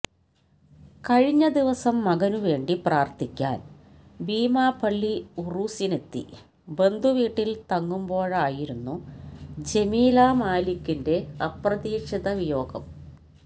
കഴിഞ്ഞ ദിവസം മകനുവേണ്ടി പ്രാർഥിക്കാൻ ബീമാപള്ളി ഉറൂസിനെത്തി ബന്ധുവീട്ടിൽ തങ്ങുമ്പോഴായിരുന്നു ജമീലാ മാലിക്കിന്റെ അപ്രതീക്ഷിത വിയോഗം